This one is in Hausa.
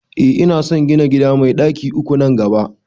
Eh ina son gina gida mai ɗaki uku nan gaba